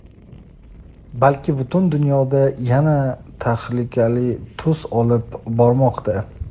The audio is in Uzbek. balki butun dunyoda yana tahlikali tus olib bormoqda.